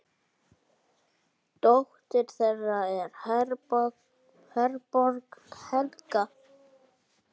Dóttir þeirra er Herborg Helga.